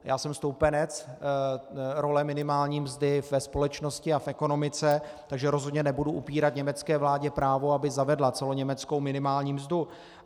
Já jsem stoupenec role minimální mzdy ve společnosti a v ekonomice, takže rozhodně nebudu upírat německé vládě právo, aby zavedla celoněmeckou minimální mzdu.